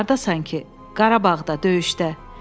Hardasan ki, Qarabağda, döyüşdə.